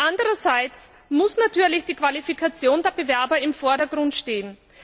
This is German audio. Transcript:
Andererseits muss natürlich die Qualifikation der Bewerber im Vordergrund stehen.